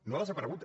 no ha desaparegut